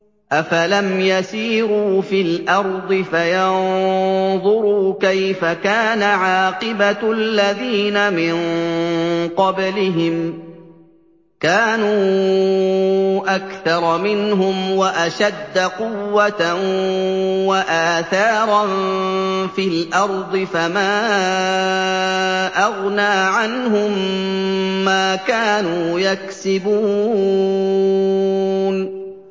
أَفَلَمْ يَسِيرُوا فِي الْأَرْضِ فَيَنظُرُوا كَيْفَ كَانَ عَاقِبَةُ الَّذِينَ مِن قَبْلِهِمْ ۚ كَانُوا أَكْثَرَ مِنْهُمْ وَأَشَدَّ قُوَّةً وَآثَارًا فِي الْأَرْضِ فَمَا أَغْنَىٰ عَنْهُم مَّا كَانُوا يَكْسِبُونَ